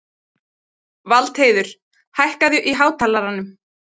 Valdheiður, hækkaðu í hátalaranum.